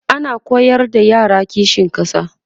ana koyar da yara kishin ƙasa